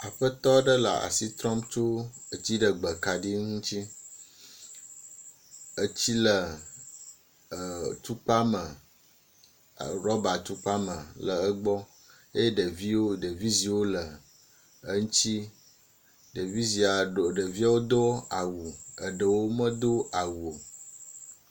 aƒetɔ ɖe le asitrɔm tso dziɖegbe kaɖi ŋuti etsi le tukpa me rɔba tukpa me le egbɔ eye ɖeviwo ɖevi ziwo le.eŋtsi ɖevi zia eɖewo dó awu eɖewo medó awu o